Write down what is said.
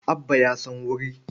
Abba ya san wuri.